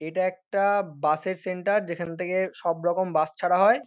এটা একটা-আ বাস -এর সেন্টার । যেখান থেকে সব রকম বাস ছাড়া হয়।